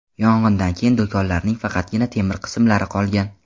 Yong‘indan keyin do‘konlarning faqatgina temir qismlari qolgan.